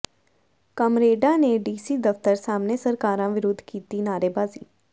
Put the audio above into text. ਕਾਮਰੇਡਾਂ ਨੇ ਡੀਸੀ ਦਫ਼ਤਰ ਸਾਹਮਣੇ ਸਰਕਾਰਾਂ ਵਿਰੁੱਧ ਕੀਤੀ ਨਾਅਰੇਬਾਜ਼ੀ